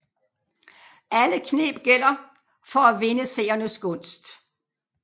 Alle kneb gælder for at vinde seernes gunst